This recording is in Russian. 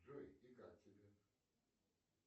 джой и как тебе